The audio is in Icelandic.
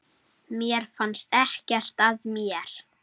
Mér fannst ekkert að mér.